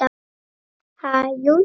Ha, jú, jú